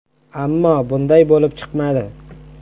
Ammo bunday bo‘lib chiqmadi.